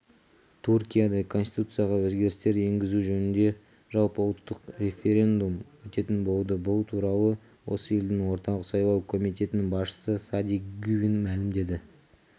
түркияда конституцияға өзгерістер енгізу жөнінде жалпыұлттық референдум өтетін болды бұл туралы осы елдің орталық сайлау комитетінің басшысы сади гювен мәлімдеді